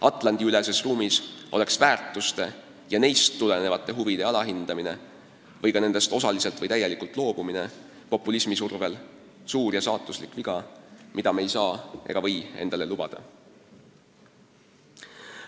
Atlandi-üleses ruumis oleks väärtuste ja neist tulenevate huvide alahindamine või ka nendest osaliselt või täielikult loobumine populismi survel suur ja saatuslik viga, mida me ei saa ega või endale lubada.